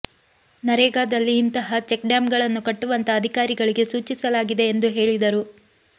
ನರೇಗಾದಲ್ಲಿ ಇಂತಹ ಚೆಕ್ ಡ್ಯಾಂಗಳನ್ನು ಕಟ್ಟುವಂತೆ ಅಧಿಕಾರಿಗಳಿಗೆ ಸೂಚಿಸಲಾಗಿದೆ ಎಂದು ಹೇಳಿದರು